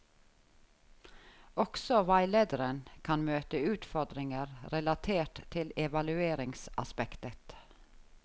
Også veilederen kan møte utfordringer relatert til evalueringsaspektet.